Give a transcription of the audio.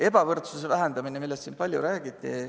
Ebavõrdsuse vähendamine, millest siin palju räägiti.